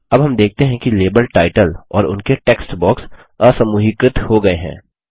अब हम देखते हैं कि लेबल टाइटल और उनके टेक्स्ट बॉक्स असमूहीकृत हो गये हैं